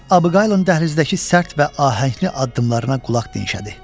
Miss Abigaylın dəhlizdəki sərt və ahəngli addımlarına qulaq dinşədi.